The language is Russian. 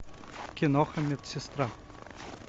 киноха медсестра